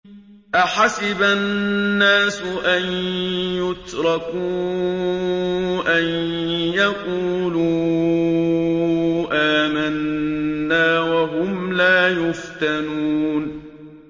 أَحَسِبَ النَّاسُ أَن يُتْرَكُوا أَن يَقُولُوا آمَنَّا وَهُمْ لَا يُفْتَنُونَ